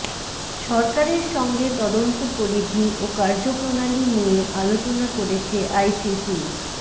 সরকারের সঙ্গে তদন্ত পরিধি ও কার্যপ্রণালী নিয়ে আলোচনা করেছে আইসিসি